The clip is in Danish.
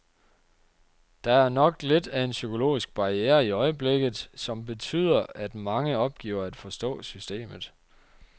Der er nok lidt af en psykologisk barriere i øjeblikket, som betyder, at mange opgiver at forstå systemet.